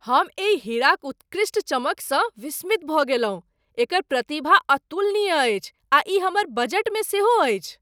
हम एहि हीराक उत्कृष्ट चमकसँ विस्मित भऽ गेलहुँ! एकर प्रतिभा अतुलनीय अछि, आ ई हमर बजटमे सेहो अछि।